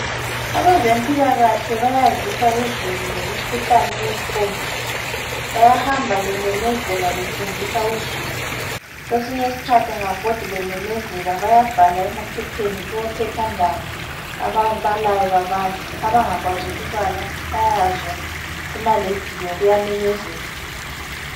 Abezempilakahle bayazisa uzulu ngemkhuhlane ekhona. Bayahamba bememezela befundisa uzulu. Kwesinye isikhathi kababhodi bememezela, bayabhala emaphepheni kumaphephandaba, ababalayo babale, abangakwazi ukubala bayezwa kuma rediyo, kuyamenyezelwa.